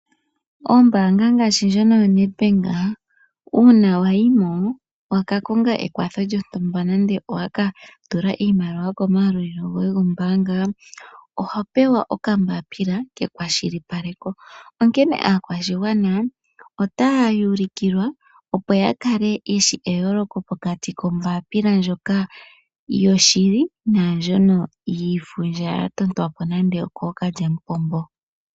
Ombaanga ngaashi ndjono yoNedbank, uuna wa yimo wa kakonga ekwatho lyontumba nande owaka tula iimaliwa ko mayalulilo goye gombaanga, oho pewa okambapila kekwashilipaleko. Onkene aakwashigwana otaya ulukilwa opo ya kale yeshi eyooloko pokati kombaapila ndyoka yoshili naandjono yiifundja ya totwapo nande okoo kalyamupombo.